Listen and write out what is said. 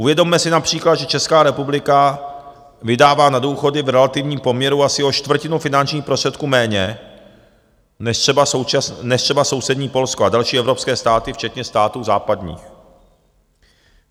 Uvědomme si například, že Česká republika vydává na důchody v relativním poměru asi o čtvrtinu finančních prostředků méně než třeba sousední Polsko a další evropské státy, včetně států západních.